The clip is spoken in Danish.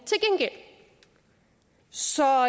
så